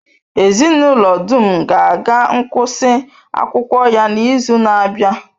Ezinụlọ dum ga-aga ngụsị akwụkwọ ya n'izu na-abịa.